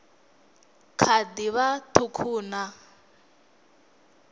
kha ḓi vha ṱhukhu na